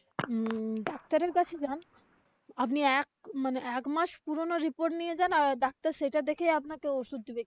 উম ডাক্তারের কাছে যান। আপনি এক মানে একমাস পুরানো report নিয়ে যান আহ doctor সেটা দেখে আপনাকে ঔষধ দিবে।